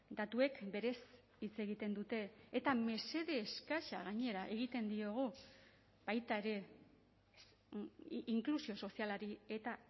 datuek berez hitz egiten dute eta mesede eskasa gainera egiten diogu baita ere inklusio sozialari eta